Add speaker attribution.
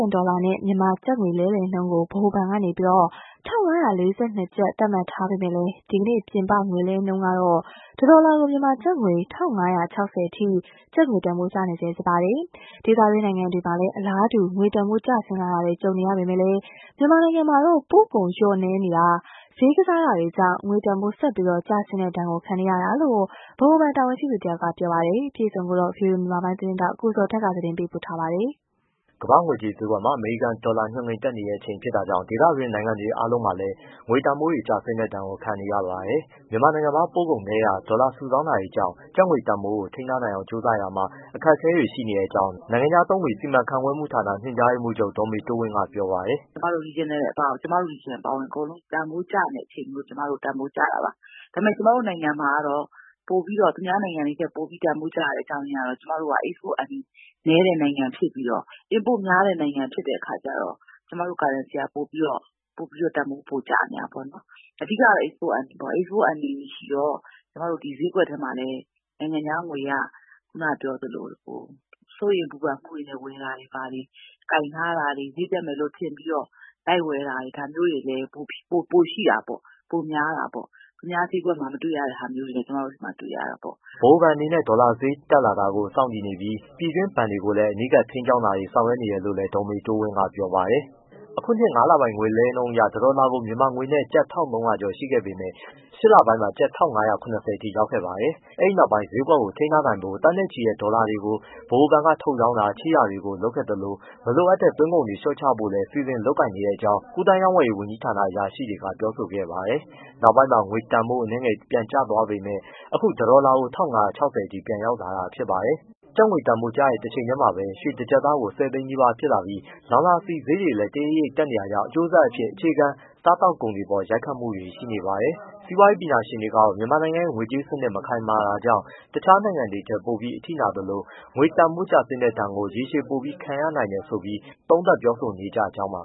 Speaker 1: န် ဒေါ်လာနဲ့ မြန်မာကျပ်ငွေလဲလှယ်နှုန်းကို ဗဟိုဘဏ်က ၁၅၄၂ ကျပ်သတ်မှတ်ထားပေမဲ့ ဒီကနေ့ ပြင်ပ ငွေလဲနှုန်းမှာ တဒေါ်လာကို မြန်မာကျပ်ငွေ ၁၅၆၀ အထိ ကျပ်ငွေတန်ဖိုး ကျနေဆဲဖြစ်ပါတယ်။ ဒေသတွင်းနိုင်ငံတွေမှာလည်း အလားတူ ငွေတန်ဖိုးကျဆင်းတာတွေ ကြုံနေရပေမယ့် မြန်မာနိုင်ငံမှာတော့ ပို့ကုန် လျော့နည်းနေတာ၊ ဈေးကစားတာတွေကြောင့် ငွေတန်ဖိုး ဆက်ပြီး ကျဆင်းတဲ့ဒဏ်ကို ခံနေတာလို့ ဗဟိုဘဏ် တာဝန်ရှိသူတစ်ဦးက ပြောပါတယ်။ ဗွီအိုအေမြန်မာပိုင်း သတင်းထောက် ကိုဇော်ထက်ပေးပို့ပေးထားပါတယ်။
Speaker 2: ကမ္ဘာ့ငွေကြေးဈေးကွက်မှာ အမေရိကန်ဒေါ်လာ ညွှန်းကိန်း တက်နေတဲ့အချိန်ဖြစ်တာကြောင့် ဒေသတွင်း နိုင်ငံတွေအားလုံးမှာလည်း ငွေတန်ဖိုးတွေ ကျဆင်းတဲ့ဒဏ်ကို ခံနေရပါတယ်။ မြန်မာနိုင်ငံမှာ ပို့ကုန်နည်းတာ၊ ဒေါ်လာစုဆောင်းတာ တွေကြောင့် ကျပ်ငွေတန်ဖိုးကို ထိန်းထားနိုင်အောင် ကြိုးစားရာမှာ အခက်အခဲတွေ ရှိတဲ့အကြောင်း နိုင်ငံခြားသုံးငွေ စီမံခန့်ခွဲမှုဌာန ညွန်ကြားရေးမှူးချုပ် ဒေါ်မေတိုးဝင်းက ပြောပါတယ်။
Speaker 3: “ကျွန်မတို့ regional အပါအဝင်အကုန်လုံး တန်ဖိုးကျနေတဲ့အချိန်မို့လို့ တန်ဖိုးကျတာပါ။ ဒါပေမဲ့ ကျွန်မတို့ နိုင်ငံမှာကျတော့ သူများနိုင်ငံ တွေထက် ပိုပြီးတန်ဖိုးကျတဲ့အကြောင်းကတော့ ကျွန်မတို့က export earning နည်းတဲ့နိုင်ငံဖြစ်ပြီးတော့ inport များတဲ့နိုင်ငံဖြစ်တဲ့အခါ ကျတော့ ကျွန်မတို့ currencyက ပိုပြီးတန်ဖိုးကျနေတာပေါ့။ အဓိကတော့ အိတ်စပို့ earning ပေါ့ အိတ်စပို့ earning မရှိတဲ့အခါကျတော့ ဈေးကွက်ထဲမှာလည်း နိုင်ငံခြားငွေကခုနကပြောသလို စိုးရိမ်ပူပန်မှုတွေနဲ့ ဝယ်တာတွေဘာတွေ ကိုင်ထားတာတွေ၊ ဈေးတက်မယ်လို့ ထင်ပြီးတော့ လိုက်ဝယ်တာတွေ ဒါမျိုးတွေလည်း ပိုရှိတာပေါ့။ ပိုများတာပေါ့။ သူများဈေးကွက်မှာ မတွေ့တာတွေလည်း ကျွန်မတို့မှာတွေ့ရ တာပေါ့
Speaker 2: ။” ဗဟိုဘဏ်အနေနဲ့ ဒေါ်လာဈေးတက်လာတာကို စောင့်ကြည့်နေပြီး ပြည်တွင်းဘဏ်တွေကိုလည်း အနီးကပ်ထိန်းကျောင်းတာတွေ ဆောင်ရွက် နေတယ်လို့လည်း ဒေါ်မေတိုးဝင်းက ပြောပါတယ်။ အခုနှစ် ငါးလပိုင်းက ငွေလဲနှုန်းအရ တဒေါ်လာကို မြန်မာငွေနဲ့ ကျပ် ၁၃၀၀ကျော် ရှိခဲ့ပေမယ့်၊ ရှစ်လပိုင်းမှာ ကျပ် ၁ ၅၇၀ အထိ ရောက်ခဲ့ပါတယ်။ အဲဒီ နောက်ပိုင်း ဈေးကွက်ကို ထိန်းနိုင်ဖို့ သန်းနဲ့ချီ ဒေါ်လာတွေကို ဗဟိုဘဏ်က ထုတ်ရောင်းတာ၊ ချေးတာတွေ လုပ်ခဲ့သလို၊ မလိုအပ်တဲ့သွင်းကုန်တွေ လျော့ချဖို့ စီစဉ်လုပ်ကိုင်နေတဲ့အကြောင်း ကူးသန်းရောင်းဝယ်ရေး ဝန်ကြီးဌာန အရာရှိတွေက ပြောဆိုခဲ့ပါတယ်။ နောက်ပိုင်းမှာ ငွေတန်းဖို့ အနည်းငယ် ပြန်ကျသွားခဲ့ပေမယ့် အခု တစ်ဒေါ်လာကို ၁၅၆၀ အထိ ပြန်ရောက်လာတာဖြစ်ပါတယ်။ ကျပ်ငွေတန်ဖိုး ကျတဲ့ တစ်=ချိန်တည်းမှာပဲ ရွှေတစ်ကျပ်သား ဆယ်သိန်းနီးပါး ဖြစ်လာပြီး လောင်စာ ဆီဈေးတွေလည်း တရိပ်ရိပ်တက်နေတာကြောင့် အကျိုးဆက်အဖြစ် အခြေခံစားကုန်တွေ အပေါ် ရိုက်ခတ်မှုတွေ ရှိနေပါတယ်။ စီးပွားရေးပညာရှင်တွေကတော့ မြန်မာနိုင်ငံရဲ့ ငွေကြေးစနစ် မခိုင်မာမှုကြောင့် တခြားနိုင်ငံတွေထက် ပိုပြီး အထိနာသလို၊ ငွေတန်းဖိုးကျဆင်းတဲ့ ဒဏ်ကို ရေရှည်ပို ခံရနိုင်တယ်ဆိုပြီး သုံးသပ်ပြောဆိုနေကြောင်းပါ